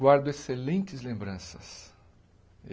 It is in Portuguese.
Guardo excelentes lembranças.